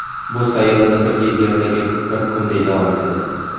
Bu sayyorada bir yil Yerdagi bir kunday davom etadi.